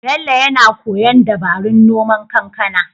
Bello yana koyon dabarun noman kankana.